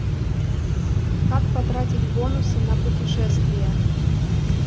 как потратить бонусы на путешествия